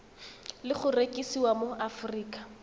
le go rekisiwa mo aforika